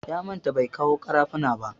Ya manta bai kawo ƙarafuna ba.